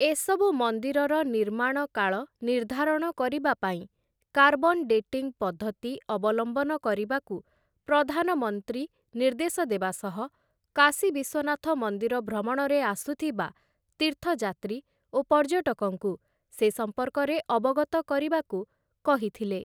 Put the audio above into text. ଏସବୁ ମନ୍ଦିରର ନିର୍ମାଣକାଳ ନିର୍ଦ୍ଧାରଣ କରିବା ପାଇଁ କାର୍ବନ ଡେଟିଂ ପଦ୍ଧତି ଅବଲମ୍ବନ କରିବାକୁ ପ୍ରଧାନମନ୍ତ୍ରୀ ନିର୍ଦ୍ଧେଶ ଦେବା ସହ କାଶୀ ବିଶ୍ୱନାଥ ମନ୍ଦିର ଭ୍ରମଣରେ ଆସୁଥିବା ତୀର୍ଥଯାତ୍ରୀ ଓ ପର୍ଯ୍ୟଟକଙ୍କୁ ସେ ସଂପର୍କରେ ଅବଗତ କରିବାକୁ କହିଥିଲେ ।